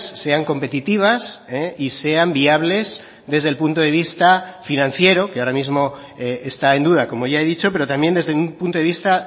sean competitivas y sean viables desde el punto de vista financiero que ahora mismo está en duda como ya he dicho pero también desde un punto de vista